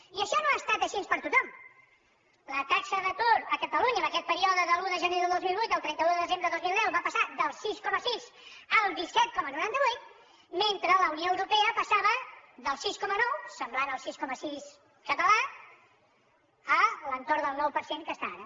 i això no ha estat així per a tothom la taxa d’atur a catalunya en aquest període de l’un de gener del dos mil vuit al trenta un de desembre del dos mil deu va passar del sis coma sis al disset coma noranta vuit mentre la unió europea passava del sis coma nou semblant al sis coma sis català a l’entorn del nou per cent que està ara